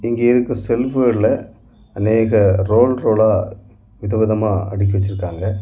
இங்க இருக்கிற செல்புகாலுல அநேக ரோல் ரோலா வித விதமா அடுக்கி வெச்சிருக்காங்க.